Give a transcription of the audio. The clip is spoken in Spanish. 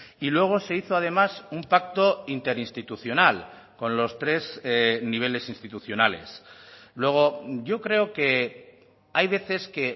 y luego se hizo además un pacto interinstitucional con los tres niveles institucionales luego yo creo que hay veces que